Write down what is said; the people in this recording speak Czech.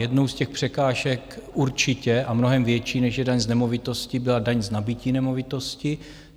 Jednou z těch překážek určitě a mnohem větší, než je daň z nemovitosti, byla daň z nabytí nemovitosti.